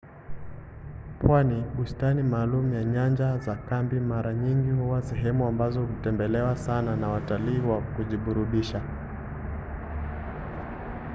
pwani bustani maalum na nyanja za kambi mara nyingi huwa sehemu ambazo hutembelewa sana na watalii wa kujiburudisha